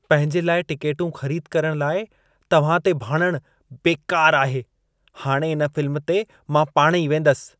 पंहिंजे लाइ टिकेटूं ख़रीद करण लाइ तव्हां ते भाड़णु बेकार आहे। हाणे इन फिल्म ते मां पाणही वेंदसि।